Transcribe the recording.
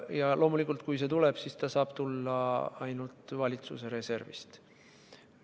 Ja loomulikult, kui see toetus tuleb, siis saab see tulla ainult valitsuse reservist.